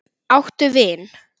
Áttu vin?